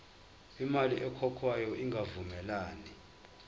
imali ekhokhwayo ingavumelani